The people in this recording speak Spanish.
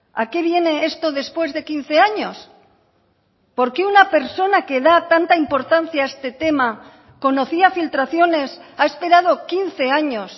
a qué viene esto después de quince años por qué una persona que da tanta importancia a este tema conocía filtraciones ha esperado quince años